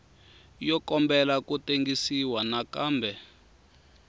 yo kombela ku tengisiwa nakambe